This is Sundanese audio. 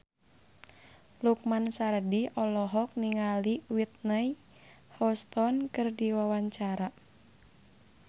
Lukman Sardi olohok ningali Whitney Houston keur diwawancara